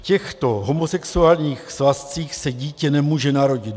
V těchto homosexuálních svazcích se dítě nemůže narodit.